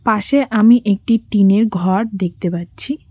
পাশে আমি একটি টিনের ঘর দেখতে পাচ্ছি।